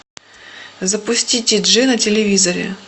запусти ти джи на телевизоре